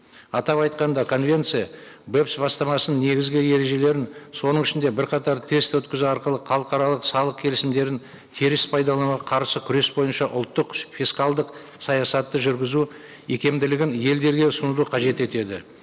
атап айтқанда конвенция бастамасының негізгі ережелерін соның ішінде бірқатар тест өткізу арқылы халықаралық салық келісімдерін теріс пайдалануға қарсы күрес бойынша ұлттық фискалдық саясатты жүргізу икемділігін елдерге ұсынуды қажет етеді